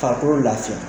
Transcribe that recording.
Farikolo lafiya